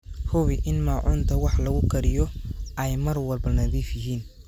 Hubi in maacuunta wax lagu kariyo ay mar walba nadiif yihiin.